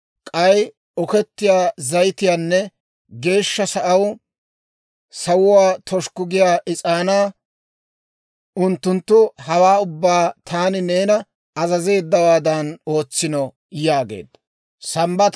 k'ay okettiyaa zayitiyaanne Geeshsha Sa'aw sawuwaa toshikku giyaa is'aanaa. Unttunttu hawaa ubbaa taani neena azazeeddawaadan ootsino» yaageedda.